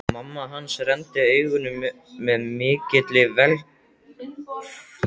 Mamma hans renndi augunum með mikilli velþóknun á milli þeirra.